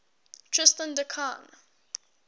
tristan da cunha